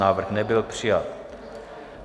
Návrh nebyl přijat.